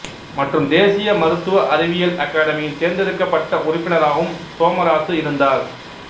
மற்றும் தேசிய மருத்துவ அறிவியல் அகாடமியின் தேர்ந்தெடுக்கப்பட்ட உறுப்பினராகவும் சோமராசு இருந்தார்